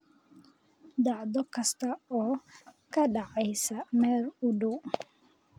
dhacdo kasta oo ka dhacaysa meel u dhow